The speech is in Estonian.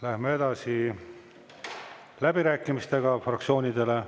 Läheme edasi läbirääkimistega fraktsioonidele.